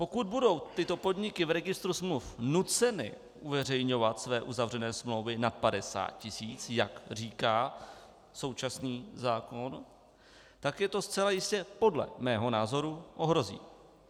Pokud budou tyto podniky v registru smluv nuceny uveřejňovat své uzavřené smlouvy nad 50 tisíc, jak říká současný zákon, tak je to zcela jistě podle mého názoru ohrozí.